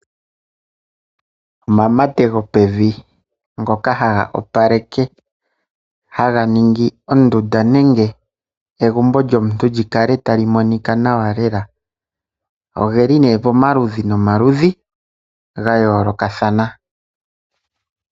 Omamate gopevi, ngoka haga opaleke haga ningi ondunda nenge egumbo lyomuntu li kale ta li monika nawa lela. Oge li nee pomaludhi nomaludhi ga yoolokathana.